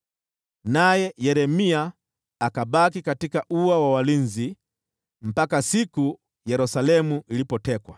Naye Yeremia akabaki katika ua wa walinzi hadi siku Yerusalemu ilipotekwa.